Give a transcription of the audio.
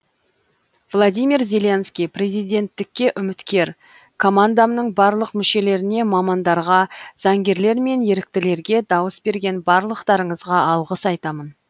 владимир зеленский президенттікке үміткер командамның барлық мүшелеріне мамандарға заңгерлер мен еріктілерге дауыс берген барлықтарыңызға алғыс айтамын